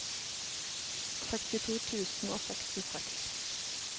sekstito tusen og sekstiseks